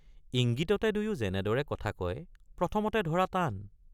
ইঙ্গিততে দুয়ো যেনেদৰে কথা কয় প্ৰথমতে ধৰা টান।